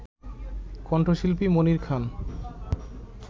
কণ্ঠশিল্পী মনির খান